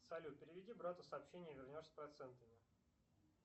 салют переведи брату сообщение вернешь с процентами